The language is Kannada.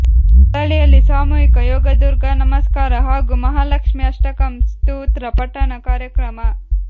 ಪೊಳಲಿಯಲ್ಲಿ ಸಾಮೂಹಿಕ ಯೋಗ ದುರ್ಗಾನಮಸ್ಕಾರ ಹಾಗೂ ಮಹಾಲಕ್ಷ್ಮೀ ಅಷ್ಟಕಂ ಸ್ತೋತ್ರ ಪಠಣ ಕಾರ್ಯಕ್ರಮ